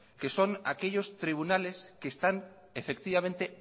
que son aquellos tribunales que están efectivamente